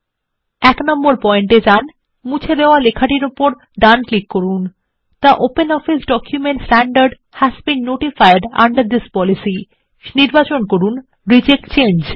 এক নম্বর পয়েন্ট এ যান এবং মুছে দেওয়া লেখা এর উপর ডান ক্লিক করুন the OpenOffice document standard has been notified under this policy এবং নির্বাচন করুন রিজেক্ট চেঞ্জ